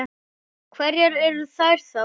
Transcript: Hverjar eru þær þá?